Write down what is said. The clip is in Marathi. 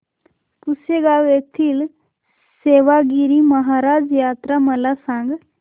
पुसेगांव येथील सेवागीरी महाराज यात्रा मला सांग